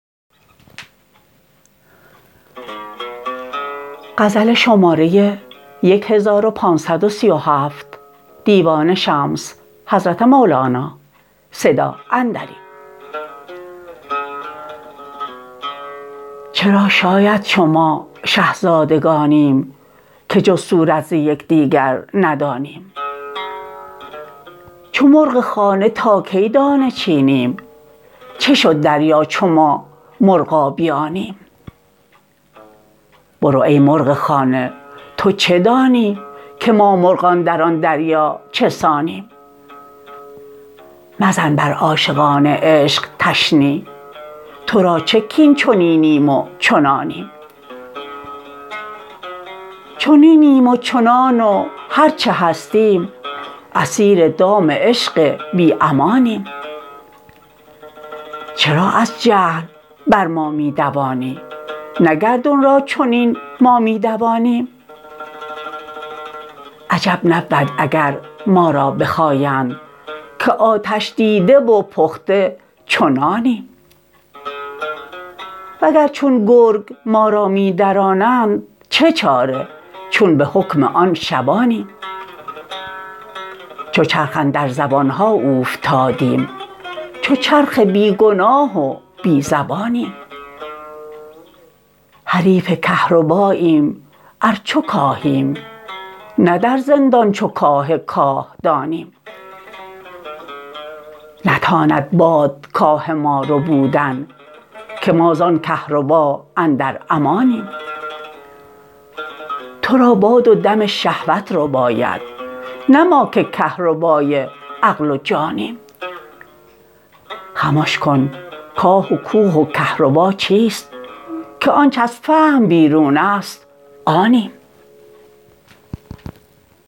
چرا شاید چو ما شه زادگانیم که جز صورت ز یک دیگر ندانیم چو مرغ خانه تا کی دانه چینیم چه شد دریا چو ما مرغابیانیم برو ای مرغ خانه تو چه دانی که ما مرغان در آن دریا چه سانیم مزن بر عاشقان عشق تشنیع تو را چه کاین چنینیم و چنانیم چنینیم و چنان و هر چه هستیم اسیر دام عشق بی امانیم چرا از جهل بر ما می دوانی نه گردون را چنین ما می دوانیم عجب نبود اگر ما را بخایند که آتش دیده و پخته چو نانیم وگر چون گرگ ما را می درانند چه چاره چون به حکم آن شبانیم چو چرخ اندر زبان ها اوفتادیم چو چرخ بی گناه و بی زبانیم حریف کهرباییم ار چو کاهیم نه در زندان چو کاه کاهدانیم نتاند باد کاه ما ربودن که ما زان کهربا اندر امانیم تو را باد و دم شهوت رباید نه ما که کهربای عقل و جانیم خمش کن کاه و کوه و کهربا چیست که آنچ از فهم بیرون است آنیم